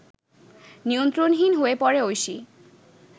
নিয়ন্ত্রণহীন হয়ে পড়ে ঐশী